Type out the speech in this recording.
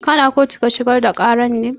Kana kotu ka shigar da ƙarar ne?